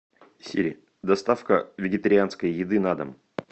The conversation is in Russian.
сири доставка вегетарианской еды на дом